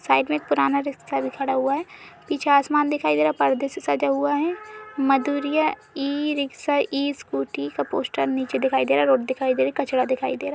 Side में एक पुराना रिक्शा भी खड़ा हुआ है पीछे आसमान दिखाई दे रहा है। पर्दे से सटा हुआ है। Madhuriya e rickshaw e scooty का पोस्टर नीचे दिखाई दे रहा है। रोड दिखाई दे रही है। कचरा दिखाई दे रहा।